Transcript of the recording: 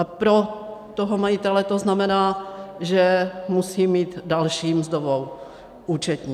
A pro toho majitele to znamená, že musí mít další mzdovou účetní.